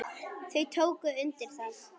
Þau tóku undir það.